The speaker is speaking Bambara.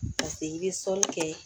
Paseke i bɛ sɔli kɛ